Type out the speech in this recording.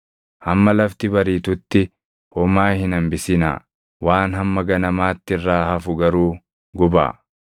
Hamma lafti bariitutti homaa hin hambisinaa; waan hamma ganamaatti irraa hafu garuu gubaa.